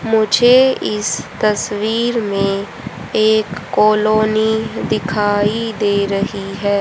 मुझे इस तस्वीर में एक कॉलोनी दिखाई दे रही है।